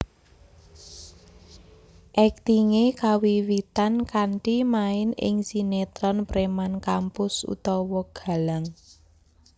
Aktingé kawiwitan kanthi main ing sinetron Preman Kampus/Galang